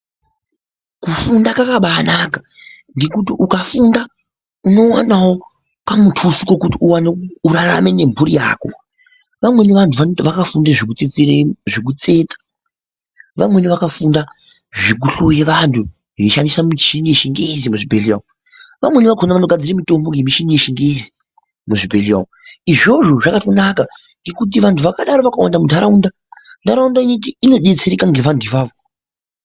kufunda kwakaba anaka ngekuti ukafunda unowanawo kamutuso kokuti urarame nemhuri yako vamweni vanhu vakufunde zvekutsetsa ,vamweni vakufunda zvekuhloye vanhu veishandise mishini yechingezi muzvibhehleya umwu ,vamweni vakona vanogadzire mitombo ngemichini yechingezi muzvibhehleya umwu izvozvo zvakatonaka ngekuti vanhu vakadaro vakawanda munharaunda ,nharaunda inodetsereka ngevanhu avavo.